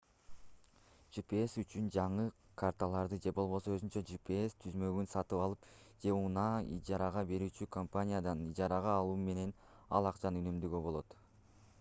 gps үчүн жаңы карталарды же болбосо өзүнчө gps түзмөгүн сатып алып же унааны ижарага берүүчү компаниядан ижарага алуу менен ал акчаны үнөмдөөгө болот